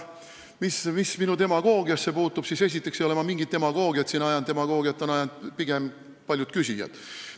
Mis demagoogiasse puutub, siis esiteks ei ole ma mingit demagoogiat siin ajanud, demagoogiat on ajanud pigem paljud küsijad.